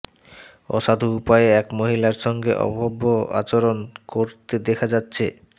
অসাধু উপায়ে এক মহিলার সঙ্গে অভব্য আচরণ করতে দেখা যাচ্ছে